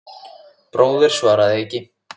Bróðir, svaraði Eiki.